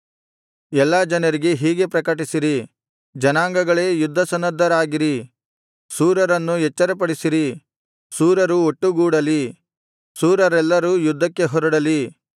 ಎಲ್ಲಾ ಜನರಿಗೆ ಹೀಗೆ ಪ್ರಕಟಿಸಿರಿ ಜನಾಂಗಗಳೇ ಯುದ್ಧಸನ್ನದ್ಧರಾಗಿರಿ ಶೂರರನ್ನು ಎಚ್ಚರಪಡಿಸಿರಿ ಶೂರರು ಒಟ್ಟುಗೂಡಲಿ ಶೂರರೆಲ್ಲರೂ ಯುದ್ಧಕ್ಕೆ ಹೊರಡಲಿ